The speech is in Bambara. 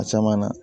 A caman na